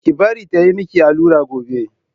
Ki bari ta yi miki allura gobe!